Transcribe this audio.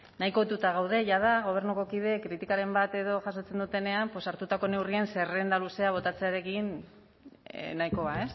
nahiko ohituta gaude jada gobernuko kideak kritikaren bat edo jasotzen dutenean pues hartutako neurrien zerrenda luzea botatzearekin nahikoa